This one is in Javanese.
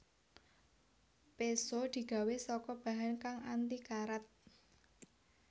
Péso digawé saka bahan kang anti karat